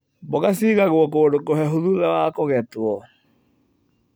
Mboga ciigagwo kũndũ kũhehu thutha wa kũgetwo.